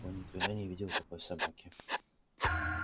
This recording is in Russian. он никогда не видел такой собаки